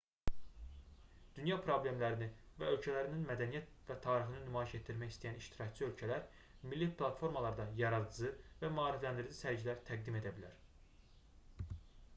dünya problemlərini və ölkələrinin mədəniyyət və tarixini nümayiş etdirmək istəyən iştirakçı ölkələr milli platformalarda yaradıcı və maarifləndirici sərgilər təqdim edə bilər